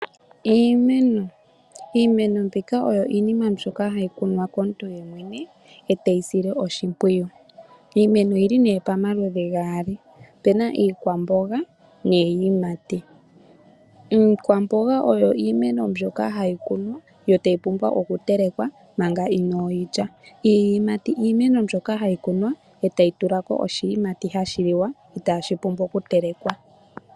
Iimeno Iimeno mbika oyo iinima mbyoka hayi kunwa komuntu yemwene eteyi sile oshimpwiyu. Iimeno oyili nee pamaludhi gaali , opuna iikwamboga niiyimati. Iikwamboga oyo iimeno mbyoka hayi kunwa yo tayi pumbwa oku telekwa manga inoo yi lya. Iiyimati iimeno mbyoka hayi kunwa etayi tulako oshiyimati hashi liwa itaashi pumbiwa okutelewa.